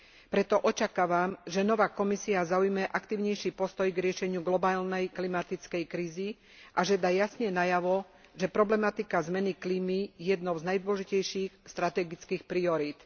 Preto očakávam, že nová Komisia zaujme aktívnejší postoj k riešeniu globálnej klimatickej krízy a že dá jasne najavo, že problematika zmeny klímy je jednou z najdôležitejších strategických priorít.